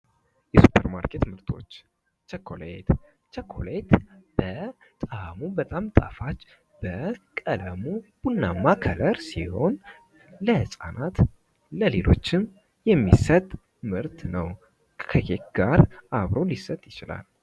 የሱፐርማርኬት ምርቶች ቸኮሌት:- የቸኮሌት በጣዕሙ በጣም ጣፋጭ በቀለሙ ቡናማ ከለር ሲሆን ለህፃናት ለሌሎችም ሊሰጥ የሚችል ምርት ነዉ። ከኬክ ጋር አብሮ ሊሰጥ ይችላል።